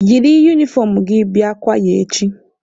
Yiri unifọm gị bịa kwaya echi!